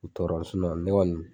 U bi tɔɔrɔ ne kɔni